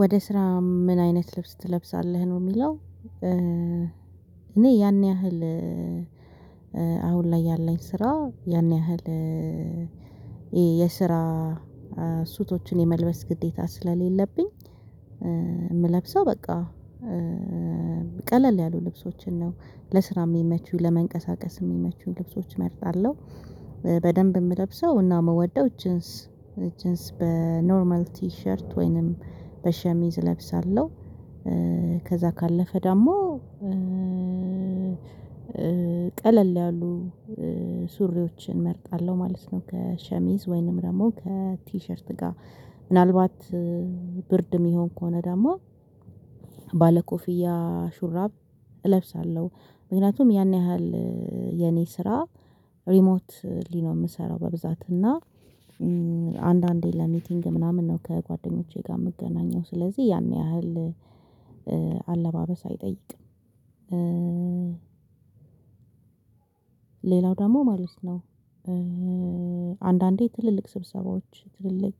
ወደ ስራ ምን አይነት ልብስ ትለብሳለህ ነው የሚለው? እኔ ያን ያህል አሁን ላይ ያለኝ ስራ ያን ያህል የስራ ሱፉችን የምልበስ ግዴታ ስለሌለብኝ። የምለብሰው በቃ ቀለል ያሉ ልብሶችን ነው ለስራ የሚመቹኝ ለመንቀሳቀስ የሚመቹኝ ልብሶች እመርጣለሁ። በደንብ የምለብሰው እና የምወደው ጅንስ ጅንስ በኖርማል ቲሸርት ወይንም በሸሚዝ እለብሳለሁ። ከዛ ካለፈ ደግሞ ቀለል ያሉ ሱሪዎችን እመርጣለሁ ማለት ነው። ከሸሚዝ ወይንም ደግሞ ከቲሸርት ጋር ምናልባት ብርድ የሚሆን ከሆነ ደግሞ ባለኮፍያ ሹራብ እለብሳለሁ። ምክንያቱም ያን ያህል የኔ ስራ ሪሞት ሊ የምሰራው በብዛት እና አንዳንዴ ለሚቲንግ ምናምን ነው ከጓደኞቼ ጋር የምገናኘው ስለዚህ ያን ያህል አለባበስ አይጠይቅም። ሌላው ደግሞ ማለት ነው። አንዳንዴ ትልልቅ ስብሰባዎች ትልልቅ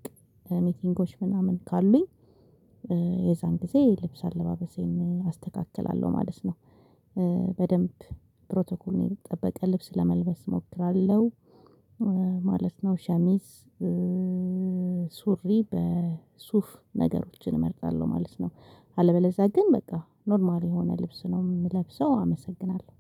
ሚቲንጎች ምናምን ካሉኝ የዛን ጊዜ ልብስ አለባበሴን አስተካክላለሁ ማለት ነው። በደንብ ፕሮቶኮል የጠበቀ ልብስ ለመልበስ እሞክራለሁ። ማለት ነው ሸሚዝ ሱሪ በሱፍ ነገሮችን እመርጣለሁ ማለት ነው። አለበለዚያ ግን በቃ ኖርማል የሆነ ልብስ ነው የምለብሰው አመሰግናለሁ።